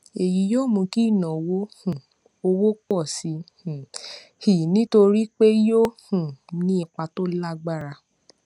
èyí yóò mú kí ìnáwó um owó pọ sí um i nítorí pé yóò um ní ipa tó lágbára